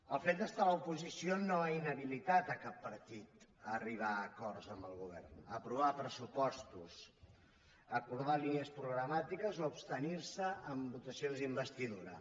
el fet d’estar a l’oposició no ha inhabilitat cap partit a arribar a acords amb el govern a aprovar pressupostos a acordar línies programàtiques o a abstenir se en votacions d’investidura